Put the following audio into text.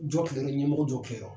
Jɔ ɲɛmɔgɔ jɔ kɛ yan.